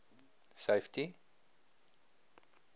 safety